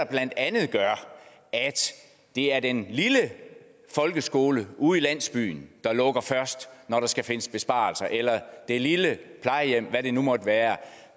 blandt andet gør at det er den lille folkeskole ude i landsbyen der lukker først når der skal findes besparelser eller det lille plejehjem eller hvad det nu måtte være